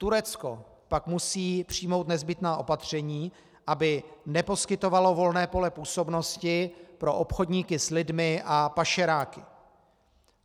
Turecko pak musí přijmout nezbytná opatření, aby neposkytovalo volné pole působnosti pro obchodníky s lidmi a pašeráky.